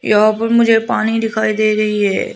यहां पर मुझे पानी दिखाई दे रही है।